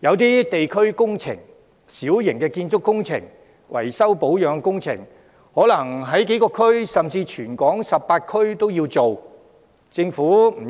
有些地區工程、小型建築工程、維修保養工程等，可能在幾個區，甚至全港18區推行，政府不